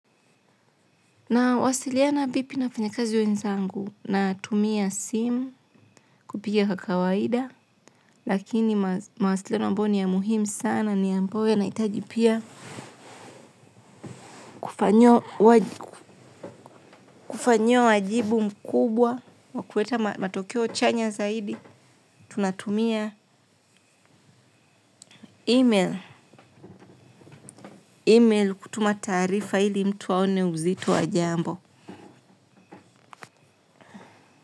Na wasiliana vipi nafanyakazi wenzangu na tumia simu kupiga kwa kawaida lakini mawasiliana ambayo ni ya muhimu sana ni ambao yana hitajipia kufanyi wajibu mkubwa wakuweta matokeo chanya zaidi tunatumia email kutuma taarifa ili mtu waone uzito wa jambo.